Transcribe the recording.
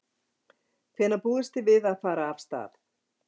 Hvenær búist þið við að fara af stað?